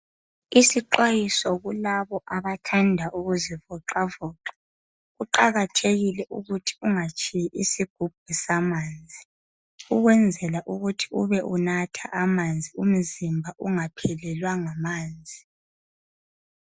Isixwayiso kulabo abathanda ukuzivoxavoxa. Kuqakathekile ukuthi ungatshiyi isigubhu samanzi. Ukwenzela ukuthi ube unatha amanzi, umzimba ungaphelelwa ngamanzi.